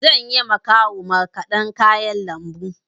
Zanyi ma kawu markaɗa kayan lambu.